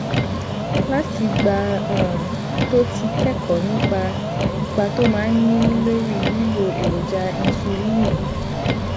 látìgbà um tó ti kékòó nípa ipa tó máa ń ní lórí lílo èròjà insuliini